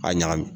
A ɲagami